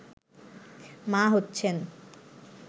মা হচ্ছেন